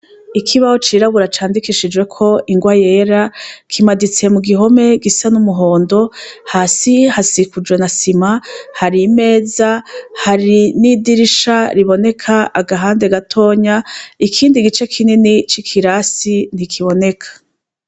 Ikibaho cirabura candikishijeko ingwa yera kimaditse mu gihome gisa n'umuhondo hasi hasikuje na sima hari imeza hari n'idirisha riboneka agahande gatonya ikindi gice kinini c'ikirasi ntikiboneka.